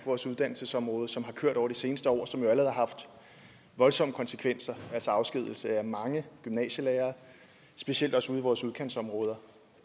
vores uddannelsesområde som har kørt over det seneste år og som allerede har haft voldsomme konsekvenser altså afskedigelse af mange gymnasielærere specielt også ude i vores udkantsområder